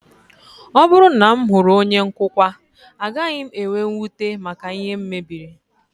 Ọ bụrụ na m hụrụ onye nkụkwa, agaghị m enwe mwute maka ihe m mebiri